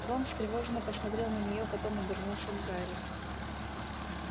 рон встревоженно посмотрел на неё потом обернулся к гарри